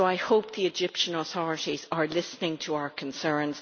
I hope the Egyptian authorities are listening to our concerns.